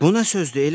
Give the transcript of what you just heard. “Bu nə sözdür?